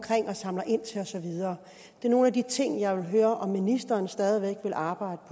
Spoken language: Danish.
og samler ind til og så videre det er nogle af de ting jeg vil høre om ministeren stadig væk vil arbejde